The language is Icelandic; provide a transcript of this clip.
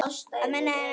Að minna en engu.